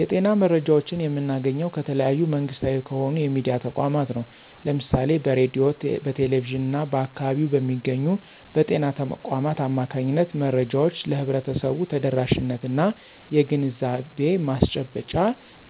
የጤና መረጃዎችን የምናገኘው ከተለያዩ መንግስታዊ ከሆኑ የሚድያ ተቋማት ነው። ለምሳሌ በሬድዮ፣ በቴሌቪዥን እና በአካባቢው በሚገኙ በጤና ተቋማት አማካኝነት መረጃዎች ለህብረተሰቡ ተደራሽነት እና የግንዛቤ ማስጨበጫ